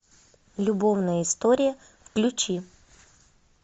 любовная история включи